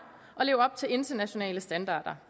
og leve op til internationale standarder